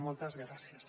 moltes gràcies